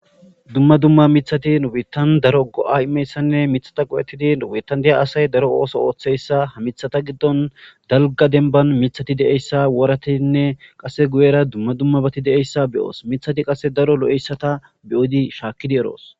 dumma dumma mithati ubitan daro go7a imeyssanne mithata qowettidi ubitandiya asay daro ooso ooththeyssa hamithata giddon dalga denban mithati de7eyssa woratinne qase guyera dumma dummabati de7eyssa beyoos mithati qase daro lo7eyssata beyodi shaakkidi eroos